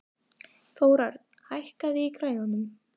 Þórörn, hækkaðu í græjunum.